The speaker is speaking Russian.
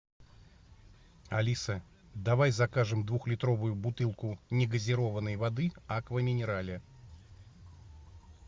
алиса давай закажем двухлитровую бутылку негазированной воды аква минерале